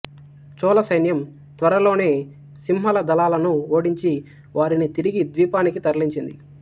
చోళసైన్యం త్వరలోనే సింహళ దళాలను ఓడించి వారిని తిరిగి ద్వీపానికి తరలించింది